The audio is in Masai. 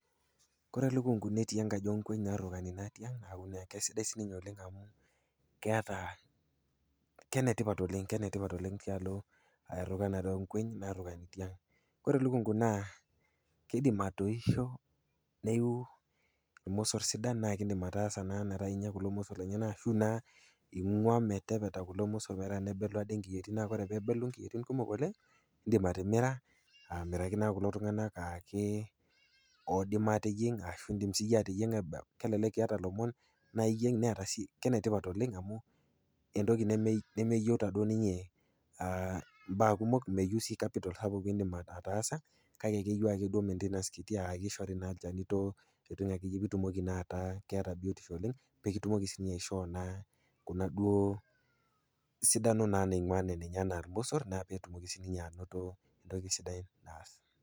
Kore elukungu netii enkaji onkueny narruukani naa tiang' neaku naa kesidai sininye oleng' amu keata, kenetipat oleng' kenetipat oleng' tialo errukanare oonkueny naarrukani tiang'. Kore elukungu naa keidim atoisho neiu ilmossor sidan naakeindim ataasa naa metaa inya kulo mossorr lenyena ashuu naa ing'uaa metepeta kulo mossorr ometaa nebelu ade inkiyuoitin naa ore peebelu inkiyuoitin kumok oleng' indim atimira aamiraki naa kulo tung'anak aakee oidim aateyieng' ashuu indim siyie ateyieng'a kelelek iata lomon naayieng' neeta sii, kenetipat oleng' amu entoki neme, nemeyouta duo ninyee [aa] mbaa kumok,, meyou sii kapital sapuk piindim ataasa kake keyou ake duo maintenance kiti aakeishori naa ilchanitoo, ntokitin akeyie piitumoki naataa keata biotisho oleng' peekitumoki sinye aishoo naa kuna duoo sidano naa naing'uaa ninye anaa ilmossor naa peetumoki sininye anoto entoki sidai naas.